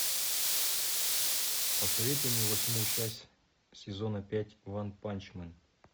посоветуй мне восьмую часть сезона пять ванпанчмен